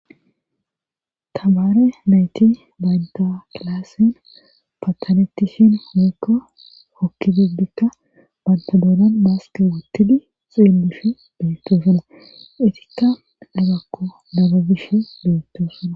tamaare nayti baynta kilaassin patanettishin heekka hokki dibdikka bantadoonan baaske wuttidi xiillushi beettosuna itikka dhagakko dababish beettosona.